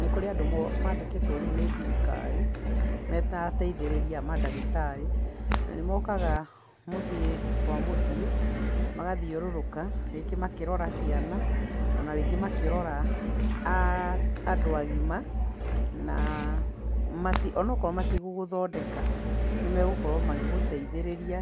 Nĩkũrĩ andũ rĩũ mandĩkĩtwo nĩ thirikari, meta ateithĩrĩria a mandagĩtarĩ, na nĩ mokaga mũciĩ kwa mũciĩ, magathiũrũrũka rĩngĩ makĩrora ciana ona rĩngĩ makĩrora a andũ agima na mati onaakorwo matigũ gũthondeka nĩmagũkorwo magĩgũteithĩrĩria,